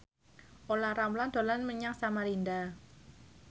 Olla Ramlan dolan menyang Samarinda